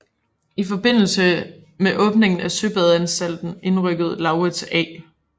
I forbindelse med åbningen af søbadeanstalten indrykkede Laurids A